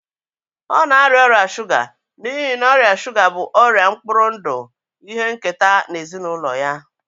Ọ na-arịa ọrịa shuga n'ihi na ọrịa shuga bụ ọrịa mkpụrụ ndụ ihe nketa na ezinụlọ ya